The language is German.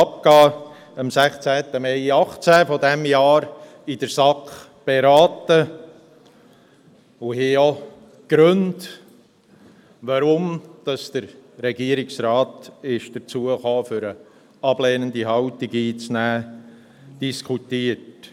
Wir haben den vom Regierungsrat am 16. Mai 2018 abgegebenen Bericht in der SAK beraten und auch die Gründe diskutiert, weshalb der Regierungsrat dazu gekommen ist, eine ablehnende Haltung einzunehmen.